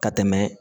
Ka tɛmɛ